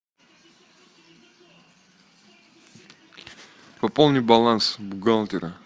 пополни баланс бухгалтера